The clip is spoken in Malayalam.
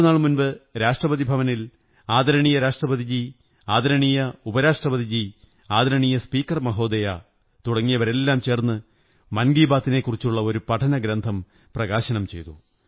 രണ്ടു നാൾ മുമ്പ് രാഷ്ട്രപതി ഭവനിൽ ആദരണീയ രാഷ്ട്രപതി ജീ ആദരണീയ ഉപരാഷ്ട്രപതിജീ ആദരണീയ സ്പീകർ മഹോദയ തുടങ്ങിയവരെല്ലാം ചേര്ന്ന് മൻ കീ ബാത്തിനെക്കുറിച്ചുള്ള ഒരു പഠന ഗ്രന്ഥം പ്രകാശനം ചെയ്തു